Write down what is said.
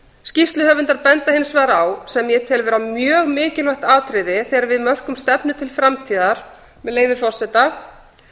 skýrsluhöfundar benda hins vegar á sem ég tel mjög mikilvægt atriði þegar við mörkum stefnu til framtíðar með leyfi forseta